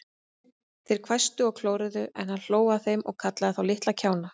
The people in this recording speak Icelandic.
Þeir hvæstu og klóruðu, en hann hló að þeim og kallaði þá litla kjána.